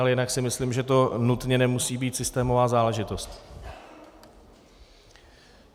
Ale jinak si myslím, že to nutně nemusí být systémová záležitost.